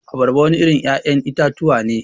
Abarba wani irin ya'yan itatuwa ne.